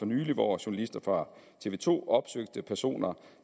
nylig hvor journalister fra tv to opsøgte personer